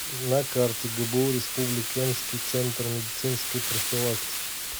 на карте гбу республиканский центр медицинской профилактики